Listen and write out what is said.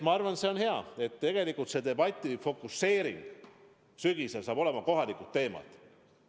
Ma arvan, et on hea, et debati fokuseering sügisel saab olema kohalikele teemadele.